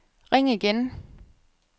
ring igen